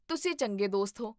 ਤੁਸੀਂ ਚੰਗੇ ਦੋਸਤ ਹੋ!